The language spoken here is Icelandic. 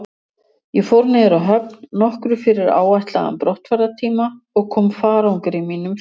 Ég fór niður að höfn nokkru fyrir áætlaðan brottfarartíma og kom farangri mínum fyrir.